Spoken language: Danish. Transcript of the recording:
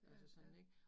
Ja ja